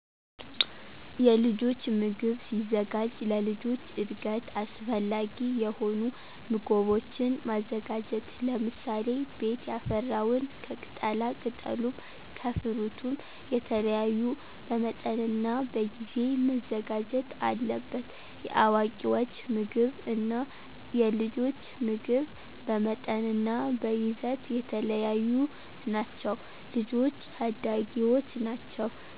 የልጆች ምግብ ሲዘጋጅ ለልጆች እድገት አሰፈላጊ የሆኑ ምጎቦችን ማዘጋጀት ለምሳሌ፦ ቤት ያፈራውን ከቅጣላቅጠሉም ከፍሩትም የተለያዩ በመጠንናበጊዜ መዘጋጀት አለበት። የአዋቂወች ምግብ እና የልጆች ምግብ በመጠንናበይዘት የተለያዩ ናቸው። ልጆች ታዳጊወች ናቸው